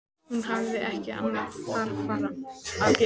Hún hafði ekki annað þarfara að gera.